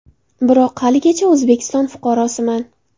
Biroq haligacha O‘zbekiston fuqarosiman”.